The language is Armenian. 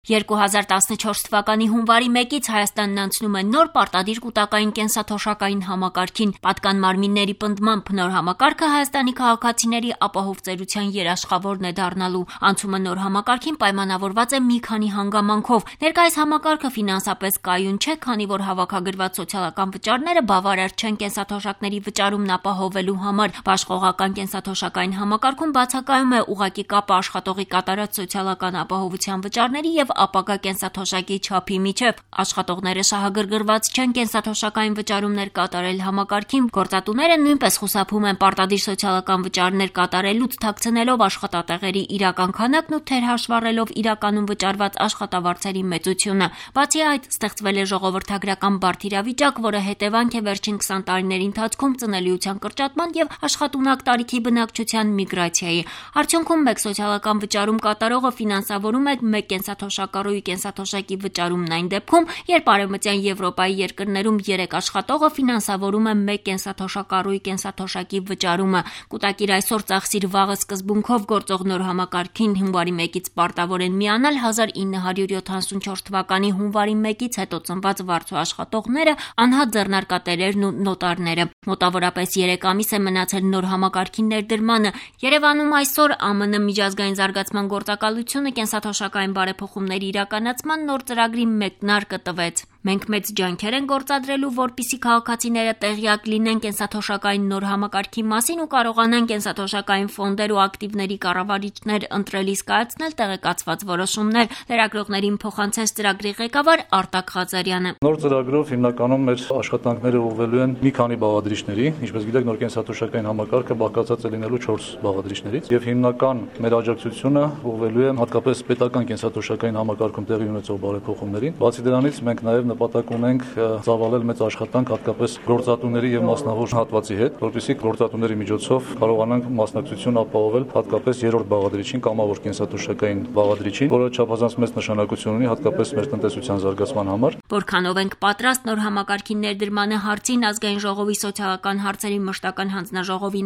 2014 թ հունվարի մեկից Հայաստանն անցնում է նոր՝ պարտադիր կուտակային կենսաթոշակային համակարգին: Պատկան մարմինների պնդմամբ՝ նոր համակարգը ՀՀ քաղաքացիների ապահով ծերության երաշխավորն է դառնալու: Անցումը նոր համակարգին պայմանավորված է մի քանի հանգամանքով՝ ներկայիս համակարգը ֆինանսապես կայուն չէ, քանի որ հավաքագրված սոցիալական վճարները բավարար չեն կենսաթոշակների վճարումն ապահովելու համար: Բաշխողական կենսաթոշակային համակարգում բացակայում է ուղղակի կապը աշխատողի կատարած սոցիալական ապահովության վճարների և ապագա կենսաթոշակի չափի միջև։ Աշխատողները շահագրգռված չեն կենսաթոշակային վճարումներ կատարել համակարգին, որն ի վիճակի չէ ապահովել համարժեք կենսաթոշակ։ Գործատուները նույնպես խուսափում են պարտադիր սոցիալական ապահովության վճարներ կատարելուց` թաքցնելով աշխատատեղերի իրական քանակն ու թերհաշվառելով իրականում վճարված աշխատավարձերի մեծությունը։ Ստեղծվել է ժողովրդագրական բարդ իրավիճակ, որը հետևանք է վերջին քսան տարիների ընթացքում ծնելիության կրճատման և աշխատունակ տարիքի բնակչության միգրացիայի: Արդյունքում` մեկ սոցիալական վճարում կատարողը ֆինանսավորում է մեկ կենսաթոշակառուի կենսաթոշակի վճարումը այն դեպքում, երբ Արևմտյան Եվրոպայի երկրներում երեք աշխատողը ֆինանսավորում է մեկ թոշակառուի կենսաթոշակի վճարումը։ «Կուտակիր այսօր, ծախսիր վաղը» սկզբունքով գործող նոր համակարգին հունվարի մեկից պարտավոր են միանալ 1974թ հունվարի մեկից հետո ծնված վարձու աշխատողները, անհատ ձեռնարկատերերը և նոտարները: Մոտավորապես երեք ամիս է մնացել նոր համակարգի ներդրմանը: Երևանում այսօր ԱՄՆ ՄԶԳ կենսաթոշակային բարեփոխումների իրականացման նոր ծրագրի մեկնարկը տրվեց։ «Մենք մեծ ջանքեր ենք գործադրելու, որպեսզի քաղաքացիները տեղյակ լինեն կենսաթոշակային նոր համակարգի մասին և կենսաթոշակային ֆոնդեր և ակտիվների կառավարիչներ ընտրելիս կարողանան տեղեկացված որոշումներ կայացնել»- լրագրողներին փոխանցեց USAID/PRIP Ծրագրի ղեկավար Արտակ Ղազարյանը: «Նոր ծրագրով մեր աշխատանքները հիմնականում ուղղվելու են մի քանի բաղադրիչների: Ինչպես գիտեք, կենսաթոշակային համակարգը բաղկացած է լինելու չորս բաղադրիչներից և հիմնական մեր աջակցությունն ուղղվելու է հատկապես պետական կենսաթոշակային համակարգում տեղի ունեցող բարեփոխումներին։ Բացի դրանից՝ մենք նաև նպատակ ունենք մեծ աշխատանք ծավալել հատկապես գործատուների և մասնավոր հատվածի հետ, որպեսզի գործատուների միջոցով կարողնանք մասնակցություն ապահովել հատկապես երրորդ բաղադրիչին, կամավոր կենսաթոշակայիկն բաղադրիչին, որը չափազանվ մեծ նշանակություն ունի հատկապես ՀՀ տնտեսության համար»,- ասում է Արտակ Ղազարյանը։ «Որքանո՞վ ենք պատրաստ նոր համակարգի ներդրմանը»,- հարցին ՀՀ ԱԺ սոցիալական հարցերի մշտական հանձնաժողովի